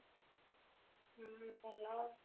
ହୁଁ ଭଲ ଆଉ